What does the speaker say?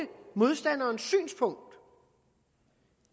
modstanderens synspunkt